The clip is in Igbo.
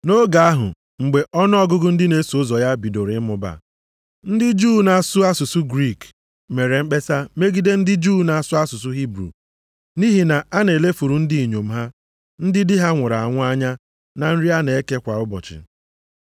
Nʼoge ahụ mgbe ọnụọgụgụ ndị na-eso ụzọ ya bidoro ịmụba, ndị Juu na-asụ asụsụ Griik mere mkpesa megide ndị Juu na-asụ asụsụ Hibru nʼihi na a na-elefuru ndị inyom ha, ndị di ha nwụrụ anwụ anya na nri a na-eke kwa ụbọchị.